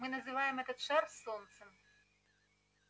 мы называем этот шар солнцем